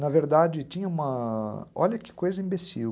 Na verdade, tinha uma... Olha que coisa imbecil.